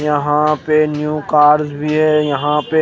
यहा पे new cars भी है यहा पे--